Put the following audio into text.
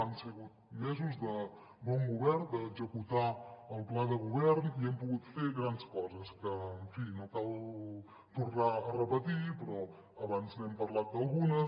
han sigut mesos de bon govern d’executar el pla de govern i hem pogut fer grans coses que en fi no cal tornar a repetir però abans n’hem parlat d’algunes